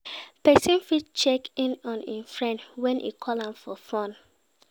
Persin fit check in on im friend when e call am for phone